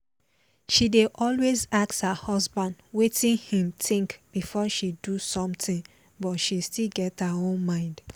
she dey always ask her husband wetin im think before she do something but she still get her own mind